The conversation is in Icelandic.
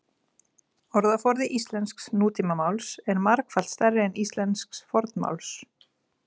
Orðaforði íslensks nútímamáls er margfalt stærri en íslensks fornmáls.